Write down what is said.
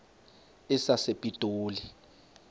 sasepitoli